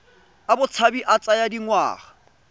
a botshabi a tsaya dingwaga